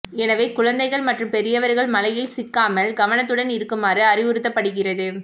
எனவே குழந்தைகள் மற்றும் பெரியவர்கள் மழையில் சிக்காமல் கவனத்துடன் இருக்குமாறு அறிவுறுத்தப்படுகிறது